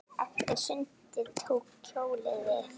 Eftir sundið tók hjólið við.